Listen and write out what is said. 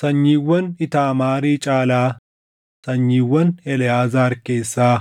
Sanyiiwwan Iitaamaarii caalaa sanyiiwwan Eleʼaazaar keessaa